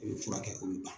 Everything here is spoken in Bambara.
U bɛ furakɛ olu la